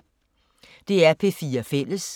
DR P4 Fælles